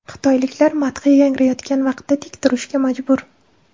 Xitoyliklar madhiya yangrayotgan vaqtda tik turishga majbur.